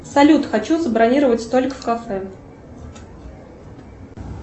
салют хочу забронировать столик в кафе